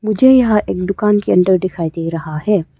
मुझे यहां एक दुकान के अंदर दिखाई दे रहा है।